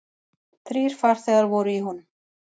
Þrír farþegar voru í honum.